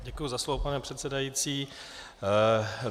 Děkuji za slovo, pane předsedající.